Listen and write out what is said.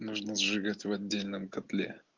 нужно сжигать в отдельном котле